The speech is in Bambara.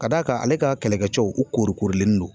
Ka d'a kan ale ka kɛlɛkɛ cɛw u korikorilen don